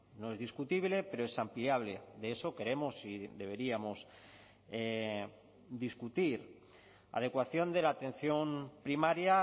no es discutible pero es ampliable de eso queremos y deberíamos discutir adecuación de la atención primaria